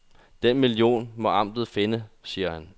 Den million må amtet finde, siger han.